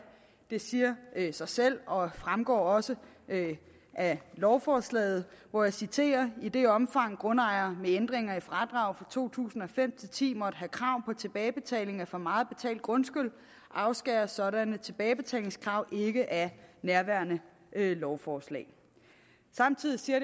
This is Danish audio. det siger sig selv og fremgår også af lovforslaget og jeg citerer i det omfang grundejere med ændringer i fradrag fra to tusind og fem til ti måtte have krav på tilbagebetaling af for meget betalt grundskyld afskæres sådanne tilbagebetalingskrav ikke af nærværende lovforslag samtidig siger